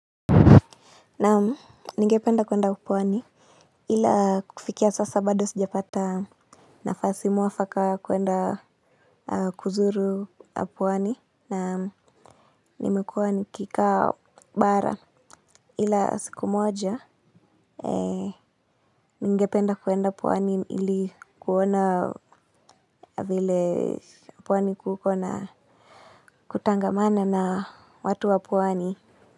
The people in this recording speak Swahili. Naam, nigependa kuenda pwani, ila kufikia sasa bado sijapata nafasi mwafaka kuenda kuzuru pwani. Naam, nimekuwa nikikaa bara. Ila siku moja, nigependa kuenda pwani ili kuona vile Pwani kuko na kutangamana na watu wa pwani.